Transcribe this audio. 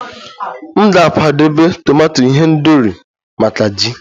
M ga-akwadebe tomato ihendori maka ji